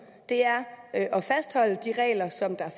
er at fastholde de regler som